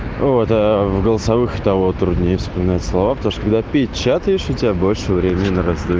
вот в голосовых того труднее вспоминать слова когда печатаешь у тебя больше времени на раздумие